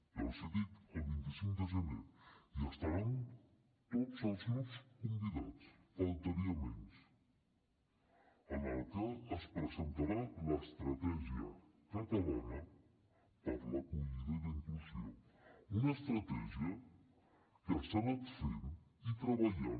ja els ho dic el vint cinc de gener hi estaran tots els grups convidats només faltaria es presentarà l’estratègia catalana per a l’acollida i la inclusió una estratègia que s’ha anat fent i treballant